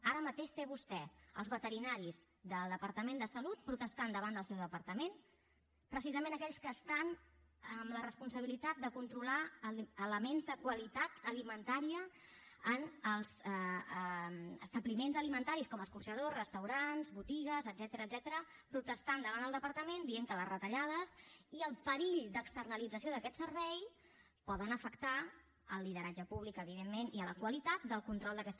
ara mateix té vostè els veterinaris del departament de salut protestant davant del seu departament precisament aquells que estan amb la responsabilitat de controlar elements de qualitat alimentària en els establiments alimentaris com escorxadors restaurants botigues etcètera protestant davant del departament dient que les retallades i el perill d’externalització d’aquest servei poden afectar el lideratge públic evidentment i la qualitat del control d’aquesta